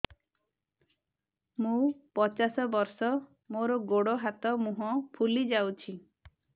ମୁ ପଚାଶ ବର୍ଷ ମୋର ଗୋଡ ହାତ ମୁହଁ ଫୁଲି ଯାଉଛି